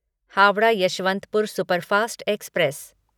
Howrah Yesvantpur superfast express